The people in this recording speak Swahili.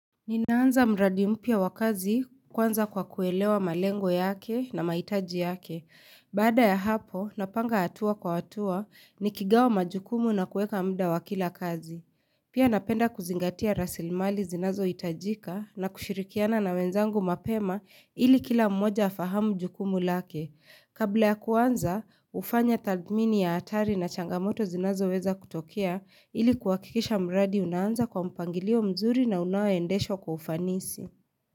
Ninaanza mradi mpia wakazi kwanza kwa kuelewa malengo yake na maitaji yake. Baada ya hapo, napanga atua kwa atua nikigawa majukumu na kueka mda wakila kazi. Pia napenda kuzingatia rasilmali zinazo itajika na kushirikiana na wenzangu mapema ili kila mmoja afahamu jukumu lake. Kabla ya kuanza, ufanya tadmini ya atari na changamoto zinazo weza kutokea ili kwakikisha mradi unaanza kwa mpangilio mzuri na unaoendesho kwa ufanisi.